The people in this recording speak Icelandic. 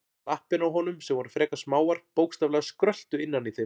Lappirnar á honum, sem voru frekar smáar, bókstaflega skröltu innan í þeim.